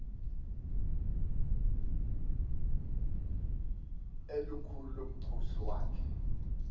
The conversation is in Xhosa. elikhulu lomkhosi wakhe